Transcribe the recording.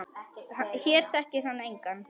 Hér þekkir hann engan.